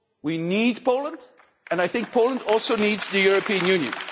We need Poland and I think Poland also needs the European Union.